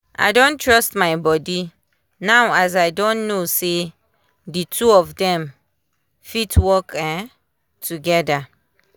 i don trust my body now as i don know say di two of dem fit work um togeda.